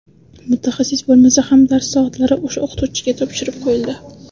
Mutaxassis bo‘lmasa ham dars soatlari o‘sha o‘qituvchiga topshirib qo‘yildi.